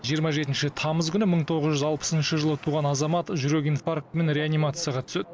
жиырма жетінші тамыз күні мың тоғыз жүз алпысыншы жылы туған азамат жүрек инфарктімен реанимацияға түседі